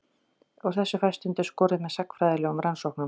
Úr þessu fæst stundum skorið með sagnfræðilegum rannsóknum.